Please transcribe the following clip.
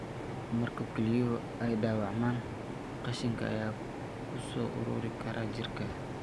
Marka kelyuhu ay dhaawacmaan, qashinka ayaa ku soo ururi kara jirka.